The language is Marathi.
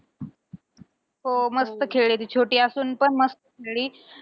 हो मस्त खेळली ती. छोटी असून पण मस्त खेळली.